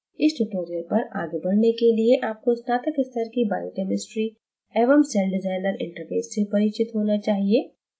इस tutorial पर आगे बढ़ने के लिए आपको स्नातक स्तर की biochemistry एवं celldesigner interface से परिचित होना चाहिए